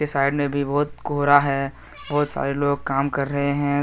Side में भी बहुत कोहरा है बहुत सारे लोग काम कर रहे हैं।